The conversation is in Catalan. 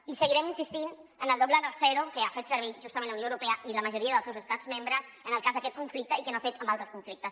i seguirem insistint en el doble raser que han fet servir justament la unió eu·ropea i la majoria dels seus estats membres en el cas d’aquest conflicte i que no han fet servir en altres conflictes